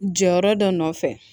Jɔyɔrɔ dɔ nɔfɛ